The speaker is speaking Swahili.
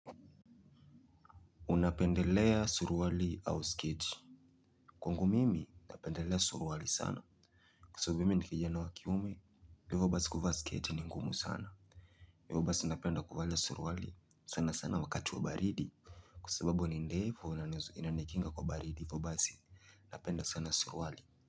Unapendelea suruali au sketi. Kwa ngu mimi napendelea suruali sana. Kwa sababu mimi nikijia na wakiume ndio ivo basi kuvaa sketi ni ngumu sana. Mimi basi napenda kuvalia suruali sana sana wakati wa baridi. Kwa sababu ni ndefu inanikinga kwa baridi niivo basi napenda sana suruali.